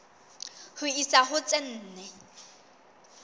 ho isa ho tse nne